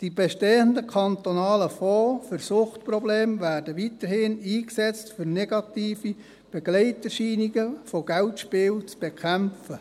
Die bestehenden kantonalen Fonds für Suchtprobleme werden weiterhin eingesetzt, um negative Begleiterscheinungen des Geldspiels zu bekämpfen.